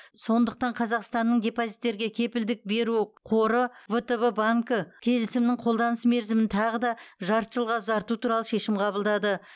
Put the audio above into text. сондықтан қазақстанның депозиттерге кепілдік беру қоры втб банкі келісімнің қолданыс мерзімін тағы да жарты жылға ұзарту туралы шешім қабылдады